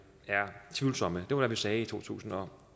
er tvivlsomme det var det vi sagde i to tusind og